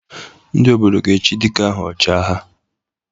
Ndị Obodo ga-echi dike ahụ 'Ọchị agha'